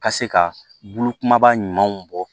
Ka se ka bulu kumaba ɲumanw bɔ